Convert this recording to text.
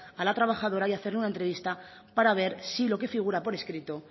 a la trabajadora y hacerle una entrevista para ver si lo que figura por escrito